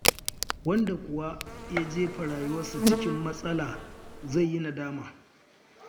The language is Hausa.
Wanda kuwa ya jefa rayuwarsa cikin matsala, to zai yi nadama.